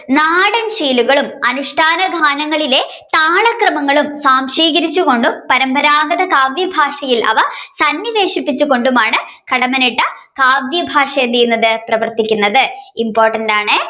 നാടൻശൈലികളും അനുഷ്ഠാന ഗാനങ്ങളിലെ താളക്രമങ്ങളും സാoശീകരിച്ച്കൊണ്ടും പരമ്പരാഗത കാവ്യ ഭാഷയിൽ അവ കൊണ്ടുമാണ് കടമ്മനിട്ട കാവ്യഭാഷ എന്ത്ചെയ്യുന്നത് പ്രവർത്തിക്കുന്നത്. important ആണേ